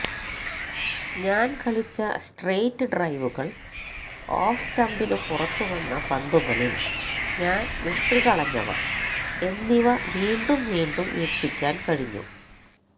ഞാന് കളിച്ച സ്ട്രെയിറ്റ് ഡ്രൈവുകള് ഓഫ്സ്റ്റംപിനു പുറത്തുവന്ന പന്തുകളില് ഞാന് വിട്ടുകളഞ്ഞവ എന്നിവ വീണ്ടും വീണ്ടും വീക്ഷിക്കാന് കഴിഞ്ഞു